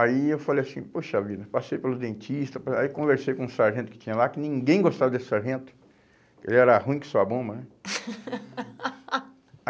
Aí eu falei assim, poxa vida, passei pelos dentistas, aí conversei com o sargento que tinha lá, que ninguém gostava desse sargento, ele era ruim que só a bomba, né?